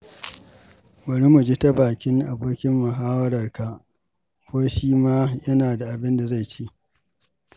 Bari mu ji ta bakin abokin muhawarka ko shi ma yana da abinda za ce.